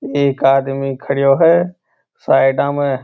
एक आदमी खड़ो है साइड में।